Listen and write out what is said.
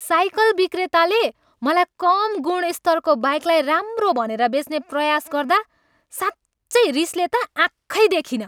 Cycle विक्रेताले मलाई कम गुणस्तरको बाइकलाई राम्रो भनेर बेच्ने प्रयास गर्दा साँच्चै रिसले त आँखै देखिनँ।